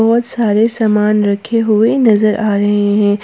बहोत सारे सामान रखे हुए नजर आ रहे हैं।